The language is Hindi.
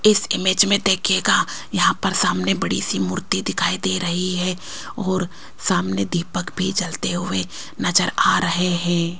इस इमेज में देखिएगा यहां पर सामने बड़ी सी मूर्ति दिखाई दे रही है और सामने दीपक भी जलते हुए नजर आ रहे हैं।